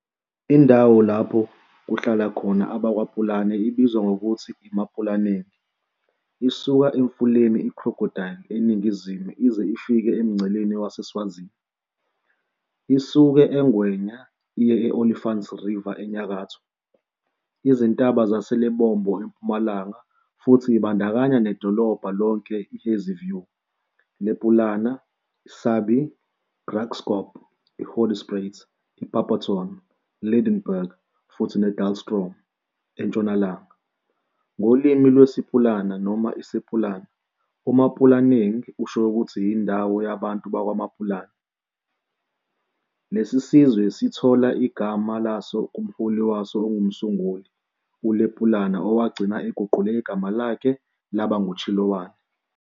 Indawo lapho kuhlala khona abakwaPulana ibizwa ngokuthi iMapulaneng, isuka emfuleni iCrocodile eningizimu ize ifike emngceleni waseSwazini isuke eNgwenya iye Olifants River enyakatho, izintaba zaseLebombo empumalanga futhi ibandakanya nedolobha lonke iHazyview, Lepunama, Sabie, Graskop, Hoedspruit, Barberton, Lydenburg futhi Dullstroom entshonalanga. Ngolimi lwesiPulana noma iSepulana, uMapulaneng usho ukuthi "Indawo yabantu bakwaMapulana", lesi sizwe sithola igama laso kumholi waso ongumsunguli, uLepulana owagcina eguqule igama lakhe laba nguChiloane.